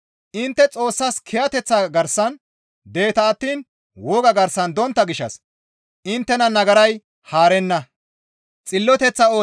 Intte Xoossa kiyateththa garsan deeta attiin woga garsan dontta gishshas inttena nagaray haarenna.